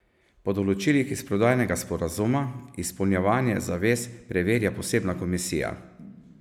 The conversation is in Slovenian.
Po določilih iz prodajnega sporazuma izpolnjevanje zavez preverja posebna komisija.